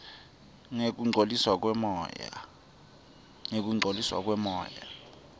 ngekungcoliswa kwemoya